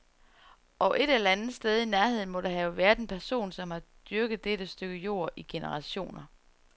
Og et eller andet sted i nærheden må der have været en person, som har dyrket dette stykke jord i generationer.